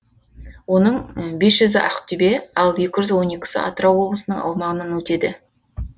оның бес жүзі ақтөбе ал екі жүз он екісі атырау облысының аумағынан өтеді